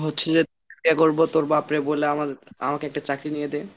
বলছিযে ইয়ে করবো তোর বাপরে বলে আমার আমাকে একটা চাকরি নিয়ে দে।